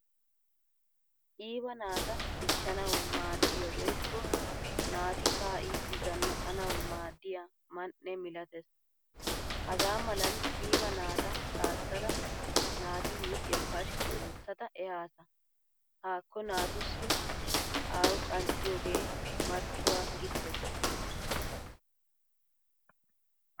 Qiiba naataa dichchanawu maadiyaa woykko naati ka'idi zannaqqanawu maadiyaa man'e milatees. Hagaa malan qiiba naataa kasaada naati huuphphiyaa pashshkki oottada ehasa. Haakko naatussi awu qanxxiyoge marccuwaa gittees.